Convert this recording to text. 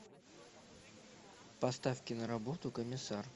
поставь киноработу комиссар